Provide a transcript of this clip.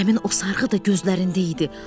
Həmin o sarğı da gözündə idi.